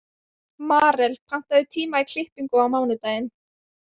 Marel, pantaðu tíma í klippingu á mánudaginn.